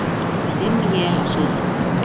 Dimm él á Suðurlandi